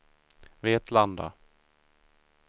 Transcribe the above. Vetlanda